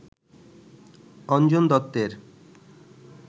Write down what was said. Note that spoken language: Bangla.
অঞ্জন দত্তের